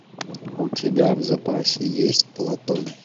у тебя в запасе есть платон